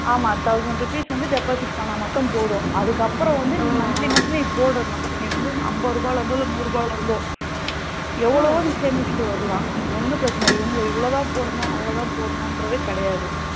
ஆமா thousand rupees வந்து deposit பண்ணா மட்டும் போதும் அதுக்கு அப்புறம் வந்து நீ monthly monthly போலாம் நீ வந்துஅம்பது ரூபால இருந்தோ இல்ல நூறு ரூபல இருந்தோ எவளவோ நீ சேமிசிட்டு வரலாம் ஒன்னும் பிரச்சன இல்ல இவங்க இவலோதா போடணும் அவளோதா போனனுங்கிறது கிடையாது.